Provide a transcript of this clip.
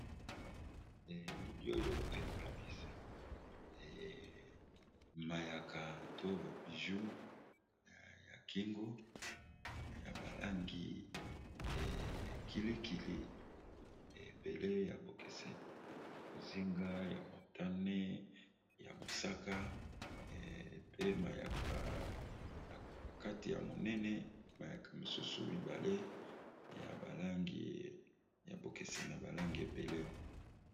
Elili oyo ekolakisa mayaka to babiju ya kingo ya balangikilikili ebele ya bokeseni mozinga ya montane ya mosaka pe akna kati ya monene mayaka mosusu mibale ya balangi ya bokeseni ya balangi ebele.